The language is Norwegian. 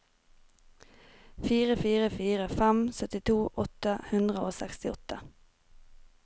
fire fire fire fem syttito åtte hundre og sekstiåtte